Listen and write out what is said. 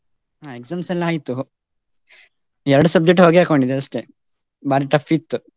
ಹಾ exams ಎಲ್ಲಾ ಆಯ್ತು. ಎರಡು subject ಹೊಗೆ ಹಾಕ್ಕೊಂಡಿದೆ ಅಷ್ಟೇ. ಭಾರಿ tough ಇತ್ತು.